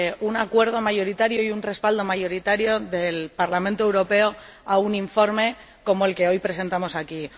un acuerdo mayoritario y un respaldo mayoritario del Parlamento Europeo a un informe como el que hoy presentamos aquí